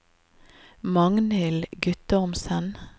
Magnhild Guttormsen